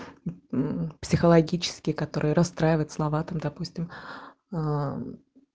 мм психологические которые расстраивают слова там допустим аа